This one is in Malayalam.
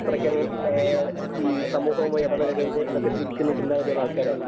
അത്രയ്ക്കങ്ങു സമൂഹമാവുമായി ഇടപഴകരുത് എന്ന് ചിന്തിക്കുന്ന ചിന്താഗതിയുള്ള ആൾക്കാരായിരുന്നു